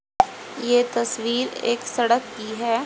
ये तस्वीर एक सड़क की है।